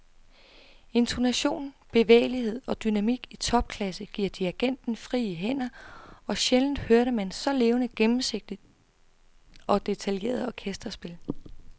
Intonation, bevægelighed og dynamik i topklasse giver dirigenten frie hænder, og sjældent hørte man så levende, gennemsigtigt og detaljeret orkesterspil.